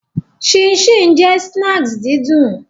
Chin gban jẹ sna didùn